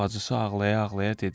Bacısı ağlaya-ağlaya dedi.